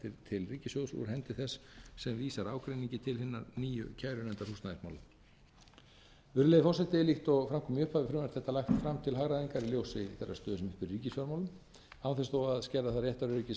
til ríkissjóðs úr hendi þess sem vísar ágreiningi til hinnar nýju kærunefndar húsnæðismála virðulegi forseti líkt og fram kom í upphafi er frumvarp þetta lagt fram til hagræðingar í ljósi þeirrar stöðu sem uppi er í ríkisfjármálum án þess þó að skerða það réttaröryggi